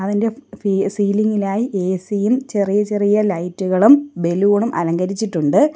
Ceiling ഇലായി A C യും ചെറിയ ചെറിയ ലൈറ്റ് കളും ബലൂണും അലങ്കരിച്ചിട്ടുണ്ട്.